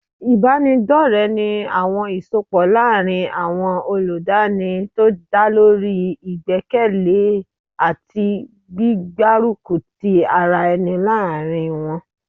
Ìbáraẹnidọ́ọ̀rẹ́ ní àwọn ìsọpọ̀ láàrin àwọn ọlọ́danni tó dálórí ìgbékalẹ̀ àti gbígbárùkù tí ara ẹni láàárín wọ́n